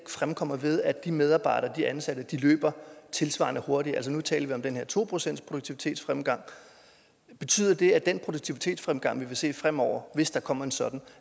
fremkommer ved at de medarbejdere de ansatte løber tilsvarende hurtigere nu talte vi om den her to procentsproduktivitetsfremgang betyder det at den produktivitetsfremgang vi vil se fremover hvis der kommer en sådan